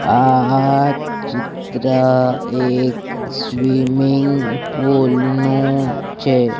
આ ચિત્ર એક સ્વિમિંગ પુલ નુ છે.